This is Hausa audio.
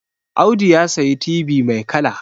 Audu ya sayi tibi mai kala